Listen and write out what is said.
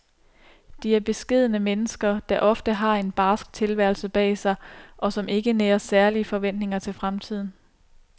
De er beskedne mennesker, der ofte har en barsk tilværelse bag sig, og som ikke nærer særlige forventninger til fremtiden.